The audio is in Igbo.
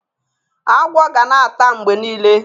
Agwo ga na-ata mgbe nile.